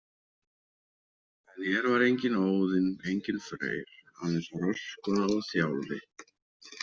En hér var enginn Óðinn, enginn Freyr, aðeins Röskva og Þjálfi.